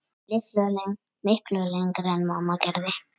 Miklu lengra en mamma gerði.